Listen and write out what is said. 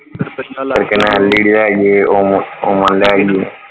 ਫਿਰ ਕਹਿਣਾ LED ਆਈਏ oven ਲੈ ਆਈਏ।